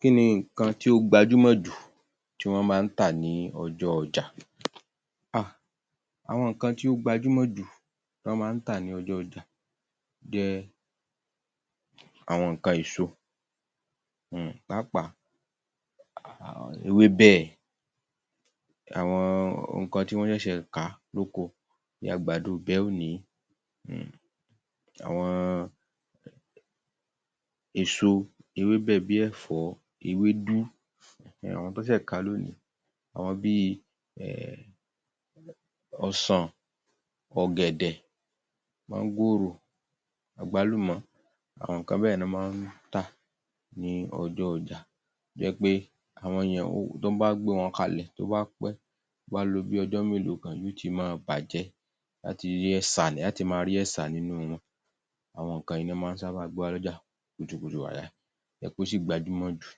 Kíni nǹkan tí ó gbajúmọ̀ jú tí wọ́n máa ń tà ní ọjọ́ ọjà? Hà, àwọn nǹkan tí ó gbajúmọ̀ jù tí wọ́n máa ń tà ní ọjọ́ ọjà jẹ́ àwọn nǹkan èso, um pàápàá um ewébẹ̀, àwọn um nǹkan tí wọ́n ṣẹ̀ṣẹ̀ ká lóko bí i àgbàdo ìbẹ́ òní um àwọn èso, ewébẹ̀ bí ẹ̀fọ́, ewedú, àwọn tí wọ́n sẹ̀ ká lónìí, àwọn bí i um ọsàn, ọ̀gẹ̀dẹ̀, máńgòrò, àgbálùmọ̀, àwọn nǹkan bẹ́ẹ̀ ni wọ́n máa ń tà ní ọjọ́ ọjà, tó jé pé àwọn yèn tí wọ́n bá gbé wọn kalẹ̀ tó bá pé, tó bá lọ bí ọjọ́ mélòó kan, yóò ti máa bàjẹ́,a tí rí ẹ̀ṣà, a ó ti máa rí ẹ̀ṣà nínú wọn, àwọn nǹkan yìí ni wọ́n sàbá máa ń gbé wá loja kùtùkùtù àìàì, tó jé pé ó sì gbajúmọ̀ jù,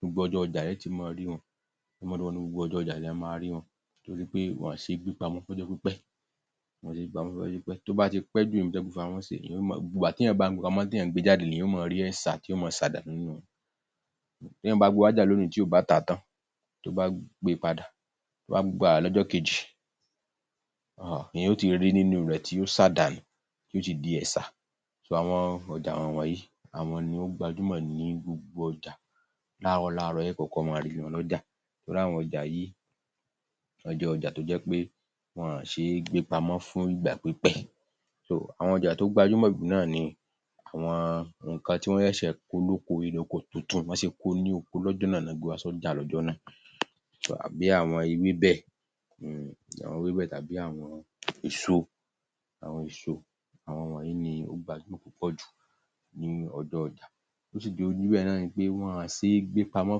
gbogbo ọjọ́ ọjà e ó ti máa rí wọn, gbogbo ọjọ́ ọjà lẹ ó máa ri wọn, tó se pé wọn ò ṣe é gbé pamọ́ fún ọjọ́ pípẹ́, wọn ò ṣe é gbé pamọ́ fún ọjọ́ pípẹ́ tó bá pẹ́ jù níbi tí wọ́n gbé wọn pamó sí, tí èyàn bá gbe pamó, tó bá gbé e jáde èyàn yóò máa rí ẹ̀ṣà, tí yóò máa ṣà dànù nínú wọn, tí èyàn bá gbe wá sí ọjà lónìí tí ó bá tà á tán, tó bá gbé e padà, tó bá padà wá lọ́jọ́ kejì, èyàn yóò ti rí nínú rẹ̀ tí yóò ṣà dànù, yóò ti di ẹ̀ṣà, àwọn ọjà wọ̀nyí àwọn ni wọ́n gbajúmọ̀ jù ní gbogbo ọjà, láàárọ̀ láàárọ̀ ni e ó kọ́kọ́ máa rí wọn lọ́jà, torì àwọn ọjà yìí wón jẹ́ ọjà tó je pé wọ́n ò ṣe é gbé pamó fún ìgbà pípẹ́ àwọn ọjà tó gbajúmọ̀ jú náà ní àwọn nńkan tí wọ́n ṣẹ̀ṣẹ̀ kó lóko, irẹ̀ oko tuntun, bí wọ́n ṣe kó o ní oko lọ́jọ́ náà ni wọ́n ko lọ sí ọjà lọ́jọ́ náà, bí àwọn ewébẹ̀, àwọn ewébẹ̀ tàbí àwọn èso, àwọn èso, àwọn wọ̀nýi ni ó gbajúmọ̀ púpọ̀ jù ní ọjọ́ ọjà, ohun tó sì jẹ́ ó rí bẹ́ẹ̀ náà ni pé wọn ò ṣe é gbé pamó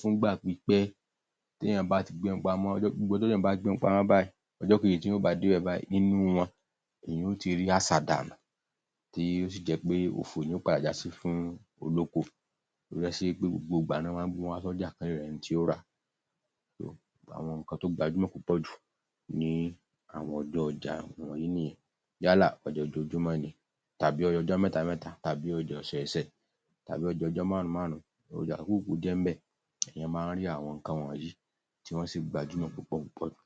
fún ìgbà pípẹ́, tí èyàn bá ti gbé wọn pamó gbogbo ojo teyan bat i gbe won pamo báyìí, ọjọ́ kejì tí èyàn bá dé báyìí, inú wọn ni èyàn yóò ti rí àṣàdànù tí yóò sì jẹ́ pé òfò ni yóò padà já sí fún olóko ọ̀ún, ló ṣe jẹ́ pé gbogbo ìgbà ni wọ́n máa ń gbé wọn wá sí ọjà, wọn yóò rẹ́ni tí ó rà á, àwọn nǹkan tó gbajúmọ̀ púpọ̀ jù ní àwọn ọjọ́ ọjà wọ̀nýi nìyẹn, yálà ọjà ojoojúmó ni, tàbí ọjà ọjọ́ mẹ́ta mẹ́ta tàbí ọjà ọ̀sọ̀ọ̀sẹ̀ tàbí ọjà ọjọ́ márùn-ún márùn-ún, ọjà yówù kó jẹ́ ń bẹ̀, èyàn máa rí áwọn nǹkan wọ̀nyí tí wọ́n sì gbajúmọ̀ púpọ̀ púpọ̀ jú